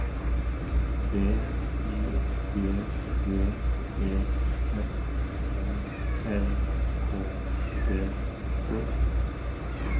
B Y G D E F O L K E T